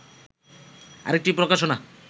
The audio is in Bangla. আরেকটি প্রকাশনা